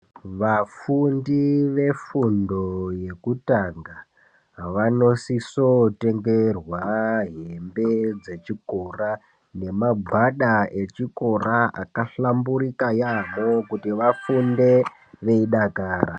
Vafundi vefundo yokutanga vanosiso kutengerwa hembe dzechikora nemagwada echikora akahlamburika yaampho kuti vafunde veidakara.